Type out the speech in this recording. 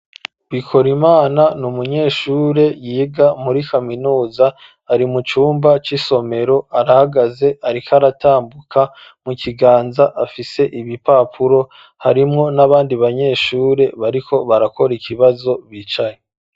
Bikorimana ni umunyeshure yiga muri kaminuza ari mu cumba c'isomero arahagaze ariko aratambuka mu kiganza afise ibipapuro harimwo nabandi banyeshure bariko barakora ikibazo bicaye.